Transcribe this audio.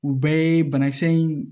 U bɛɛ ye banakisɛ in